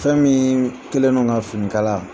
Fɛn min kɛlen do ka finikala